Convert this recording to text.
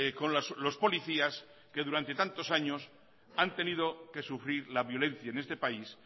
con los policías que durante tantos años han tenido que sufrir la violencia en este país